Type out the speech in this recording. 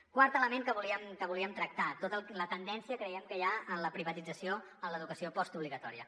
quart element que volíem tractar tota la tendència que creiem que hi ha en la privatització en l’educació postobligatòria